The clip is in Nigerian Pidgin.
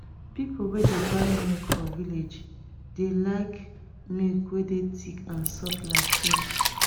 people wey dey buy milk for village dey like milk wey dey thick and soft like cream